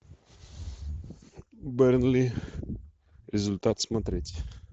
бернли результат смотреть